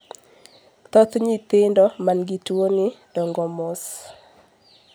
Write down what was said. thoth nyithindo man gi tuoni dongo mos